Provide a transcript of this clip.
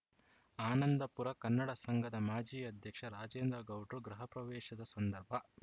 ಆನಂದಪುರ ಕನ್ನಡ ಸಂಘದ ಮಾಜಿ ಅಧ್ಯಕ್ಷ ರಾಜೇಂದ್ರ ಗೌಡ್ರು ಗೃಹಪ್ರವೇಶದ ಸಂದರ್ಭ